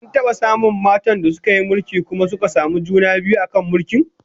An taba samun matan da suka yi mulki kuma suka samu juna biyu a kan mulkin?